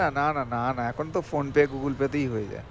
না না না না না না এখন তো Phonepe, Google pay তেই হয়ে যায়